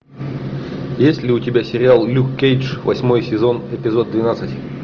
есть ли у тебя сериал люк кейдж восьмой сезон эпизод двенадцать